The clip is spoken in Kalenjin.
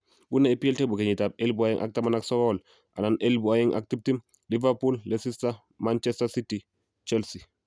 Unee EPL table kenyitab elebu oeng ak taman ak sokol /elebu oeng ak tiptem: Liverpool, Leicester, Manchester City, Chelsea